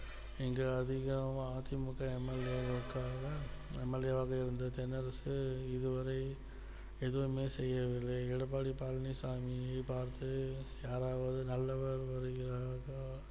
இங்கே அதிகமா அ தி மு க MLA வாக்காளர் MLA வாக இருந்த தென்னரசு இதுவரை எதுவுமே செய்யவில்லை எடப்பாடி பழனிசாமி பார்த்து யாராவது நல்லவர் வருகிறாரா